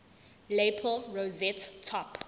lapel rosette top